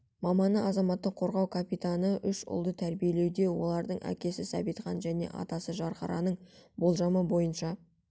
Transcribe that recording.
маманы азаматтық қорғау капитаны үш ұлды тәрбиелеуде олардың әкесі сәбитхан мен атасы жанхараның болжамы бойынша